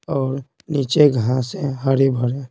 और नीचे घास है हरे भरे--